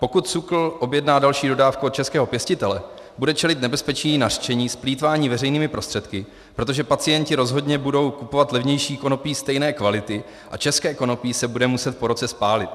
Pokud SÚKL objedná další dodávku od českého pěstitele, bude čelit nebezpečí nařčení z plýtvání veřejnými prostředky, protože pacienti rozhodně budou kupovat levnější konopí stejné kvality a české konopí se bude muset po roce spálit.